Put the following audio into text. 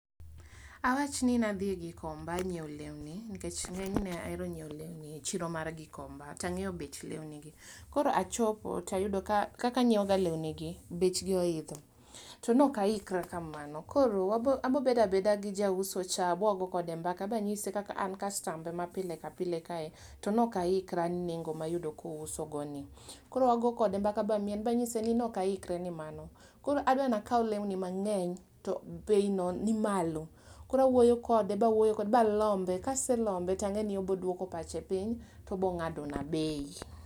Awachni nadhi Gikomba nyieo lewni nkech ng'enyne aero nyieo lewni e chiro mar Gikomba, tang'eyo bech lewnigi. Koro achopo tayudo ka kaka anyieoga lewnigi bechgi oidho to nokaikra kamano. Koro wabo abobedabeda gi jauso cha, bwago kode mbaka ba nyise kaka an kastambe ma pile kapile kae, to nokaikra ne nengo mayudo kousogoni. Koro wagokode mbaka ba mien ba nyise ni nokaikra nemano. Koro adwani akau lewni mang'eny to bei no ni malo, koro awuoyo kode ba wuoyo kode ba lombe kase lombe tang'eni oboduoko pache piny tobong'ado na bei.